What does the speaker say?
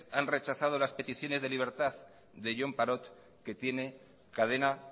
han rechazado las peticiones de libertad de jon parot que tiene cadena